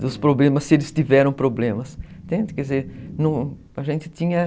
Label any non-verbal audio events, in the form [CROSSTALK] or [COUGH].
dos problemas, se eles tiveram problemas. [UNINTELLIGIBLE] a gente tinha...